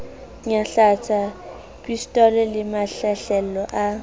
nyahlatsa pistolo le mahlahlelo a